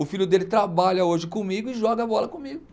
O filho dele trabalha hoje comigo e joga bola comigo.